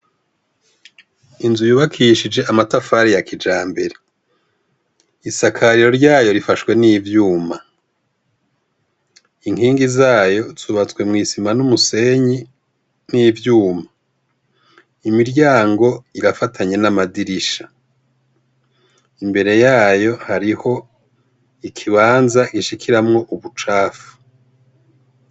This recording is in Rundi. Inzu yubakishije amatafari ya kijambere, isakariro ryayo rifashwe n'ivyuma, inkingi zayo zubatswe mw' isima n'umusenyi n'ivyuma, imiryango irafatanye n'amadirisha ,imbere yayo hariho ikibanza gishikiramwo ubucafu.